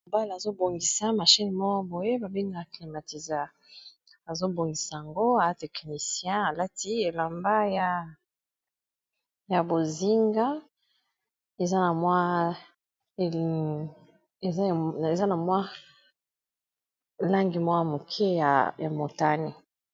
Bala azobongisa machine moko boye babengaka climatisa. Azobongisa yango aza teknicien. Alati elamba ya bozinga eza na mwa langi mwa moke ya motani.